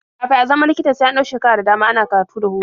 Kafin a zama likita sai an ɗau shekaru da dama ana karatu da horo.